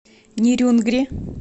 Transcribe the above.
нерюнгри